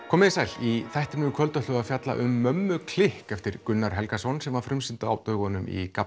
komið þið sæl í þættinum í kvöld ætlum við að fjalla um mömmu klikk eftir Gunnar Helgason sem var frumsýnt á dögunum í